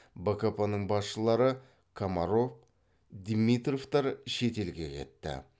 бкп ның басшылары комаров димитровтар шет елге кетті